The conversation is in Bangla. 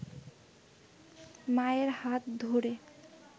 মায়ের হাত ধরে